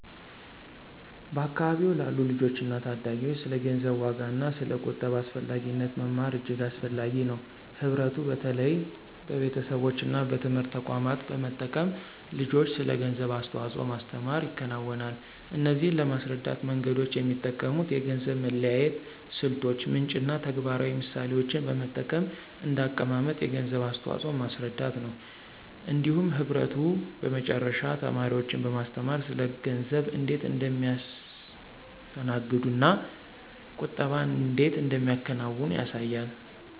በአካባቢዎ ላሉ ልጆችና ታዳጊዎች ስለ ገንዘብ ዋጋና ስለ ቁጠባ አስፈላጊነት መማር እጅግ አስፈላጊ ነው። ህብረቱ በተለይ በቤተሰቦች እና በትምህርት ተቋማት በመጠቀም ልጆችን ስለ ገንዘብ አስተዋጽኦ ማስተምር ይከናወናል። እነዚህን ለማስረዳት መንገዶች የሚጠቀሙት የገንዘብ መለያየት ስልቶች፣ ምንጭ እና ተግባራዊ ምሳሌዎችን በመጠቀም እንደ አቀማመጥ የገንዘብ አስተዋፅኦን ማስረዳት ነው። እንዲሁም ህብረቱ በመጨረሻ ተማሪዎችን በማስተማር ስለ ገንዘብ እንዴት እንደሚያስተዋግዱ እና ቁጠባን እንዴት እንደሚያከናውኑ ያሳያል።